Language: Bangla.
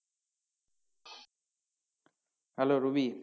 Hello Ruby